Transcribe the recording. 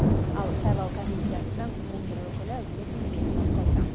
ал сайлау комиссиясының он бір өкілі өз міндетін атқаруда